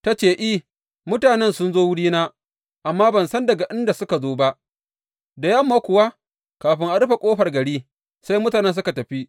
Ta ce, I, mutanen sun zo wurina, amma ban san daga ina suka zo ba, da yamma kuwa, kafin a rufe ƙofar gari sai mutanen suka tafi.